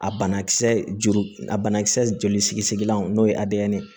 A banakisɛ juru a banakisɛ joli sigilenw n'o ye ye